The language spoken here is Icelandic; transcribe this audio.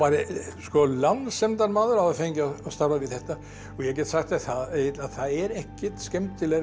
lánsemdarmaður að hafa fengið að starfa við þetta og ég get sagt þér það Egill að það er ekkert skemmtilegra í